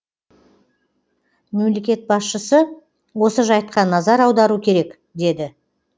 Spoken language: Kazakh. мемлекет басшысы осы жайтқа назар аудару керек деді